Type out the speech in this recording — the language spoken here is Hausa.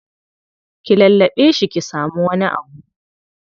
Ki lallaɓe shi ki samu wani abu.